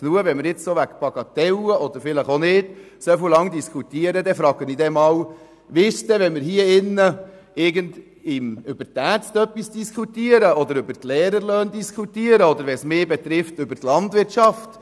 Wenn man nun wegen dieser Sache so lange diskutiert, dann frage ich mich, was denn geschehen würde, würden wir hier drin, sagen wir über die Ärzte diskutieren oder über die Lehrerlöhne oder die Landwirtschaft.